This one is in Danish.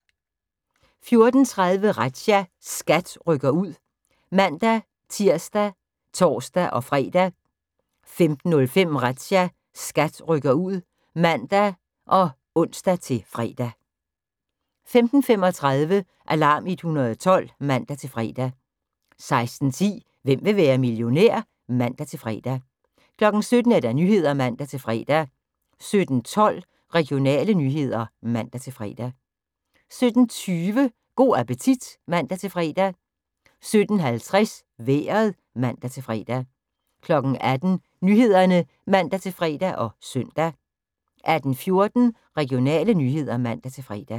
14:30: Razzia – SKAT rykker ud (man-tir og tor-fre) 15:05: Razzia – SKAT rykker ud (man og ons-fre) 15:35: Alarm 112 (man-fre) 16:10: Hvem vil være millionær? (man-fre) 17:00: Nyhederne (man-fre) 17:12: Regionale nyheder (man-fre) 17:20: Go' appetit (man-fre) 17:50: Vejret (man-fre) 18:00: Nyhederne (man-fre og søn) 18:14: Regionale nyheder (man-fre)